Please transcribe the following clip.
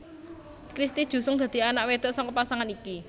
Christy Jusung dadi anak wedok saka pasangan iki